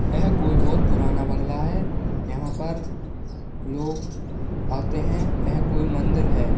यह कोई बहुत पुराना बंगला है यहाँ पर लोग आते हैं यह कोई मंदिर है।